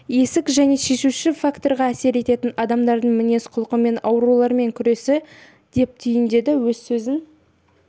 есік және шешуші факторға әсер ететін адамдардың мінез-құлқы мен аурулармен күресі деп түйіндеді өз сөзін